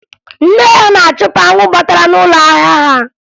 Nne ya na-achụpụ anwụ batara n'ụlọ ahịa ha